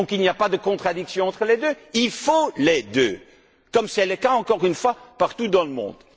Il n'y a pas de contradiction entre les deux, il faut les deux, comme c'est le cas encore une fois partout dans le monde.